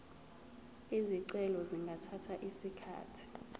izicelo zingathatha isikhathi